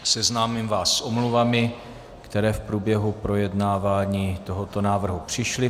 Seznámím vás s omluvami, které v průběhu projednávání tohoto návrhu přišly.